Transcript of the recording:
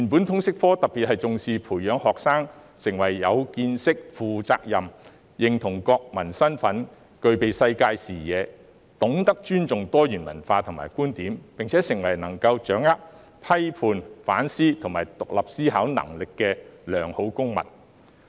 通識科原本特別重視培養學生的見識和責任感，令他們認同國民身份、具備世界視野、懂得尊重多元文化和觀點，並且成為能夠掌握批判、反思和具獨立思考能力的良好公民。